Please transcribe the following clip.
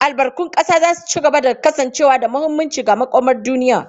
Albarkun ƙasa za su ci gaba da kasancewa da muhimmanci ga makomar duniya.